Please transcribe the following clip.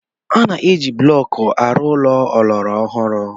A na-eji blọk arụ ụlọ ọlọrọ ọhụrụ.